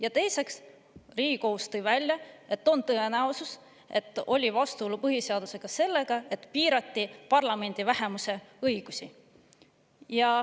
Ja teiseks, Riigikohus tõi välja, et on tõenäosus, et oli vastuolu põhiseadusega selles, et piirati parlamendi vähemuse õigusi.